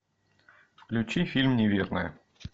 включи фильм неверная